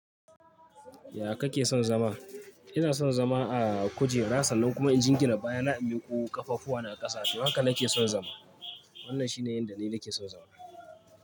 Ya kake son zama? Ina son zama a kujera, sannan kuma inji gina baya na inmi ku ƙafafuwa na ƙasa, toh haka nake son zama. Wannan shine yanda ni nake son zama.